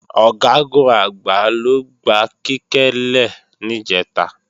Ọ̀gágun-Àgbá ló gba Kíkẹ́ lè níjẹ̀ta